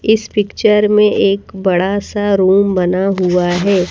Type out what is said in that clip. इस पिक्चर में एक बड़ा सा रूम बना हुआ है।